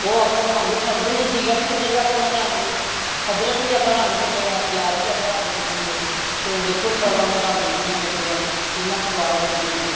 ਉਹ ਅਪਣਾ ਰੰਗ ਛੱਡਦੇ ਨੇ ਜੀਰਾ ਵੀ ਛੱਡੇਗਾ ਆਪਣਾ ਰੰਗ ਅਦ੍ਰਖ ਵੀ ਆਪਣਾ ਰੰਗ ਛੱਡੇਗਾ ਪਿਆਜ਼ ਵੀ ਆਪਣਾ ਛੱਡਣਗੇ ਉਹ ਦੇਖੋ ਚੋਲਾ ਦਾ ਰੰਗ ਕਿਵੇਂ ਲਗੇਗਾ ਕਿੰਨਾ ਸਵਾਦ ਲੱਗਦੇ ਨੇ ਫੇਰ